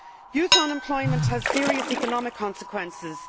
Youth unemployment has serious economic consequences.